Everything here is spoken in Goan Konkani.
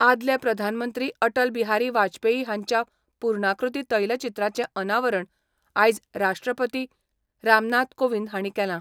आदले प्रधानमंत्री अटलबिहारी वाजपेयी हांच्या पुर्णाकृती तैलचित्राचें अनावरण आयज राष्ट्रपती रामनाथ कोविंद हांणी केलां.